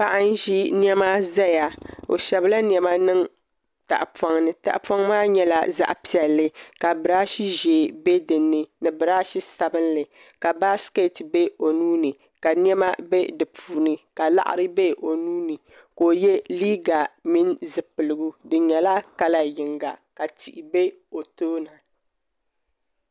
Paɣa n ʒi niɛma ʒɛya o shɛbila niɛma niŋ tahapoŋ ni tahapoŋ maa nyɛla zaɣ piɛlli ka birash ʒiɛ bɛ dinni ni birash sabinli ka baskɛt bɛ o nuuni ka niɛma bɛ di puuni ka laɣari bɛ o nuuni ka o yɛ liiga mini zipiligu din nyɛ kala yinga ka tihi bɛ o tooni